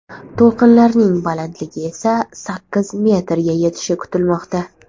To‘lqinlarning balandligi esa sakkiz metrga yetishi kutilmoqda.